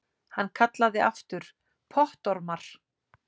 Hann kallaði aftur: Pottormar!